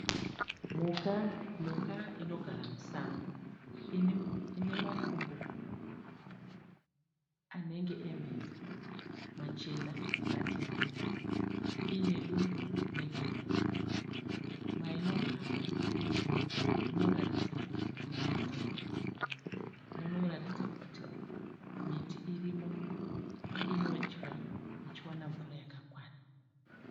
Mhuka inogara musango inemakumbo anenge e mbizi machena nematema iine dumbu rinenge remombe. Mainogara munoratidza kuti makaita girini. Munoratidza kuti miti irimo inodya ichiwana mvura yakakwana.